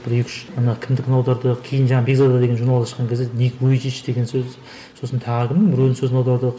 бір екі үш ана кімдікін аудардық кейін жаңа бекзада деген журналға шыққан кезде ник вуйчич деген сөзді сосын тағы кімнің біреудің сөзін аудардық